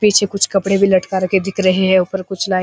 पीछे कुछ कपड़े भी लटका के दिख रखें हैं ऊपर कुछ लाइट --